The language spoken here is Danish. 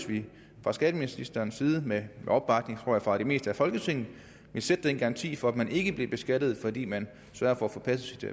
vi fra skatteministerens side med opbakning tror jeg fra det meste af folketinget ville sætte den garanti for at man ikke bliver beskattet fordi man sørger for at få passet